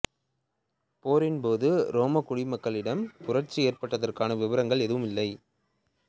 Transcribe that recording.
போரின் போது ரோமக் குடிமக்களிடம் புரட்சி ஏற்பட்டதற்கான விபரங்கள் எதுவும் இல்லை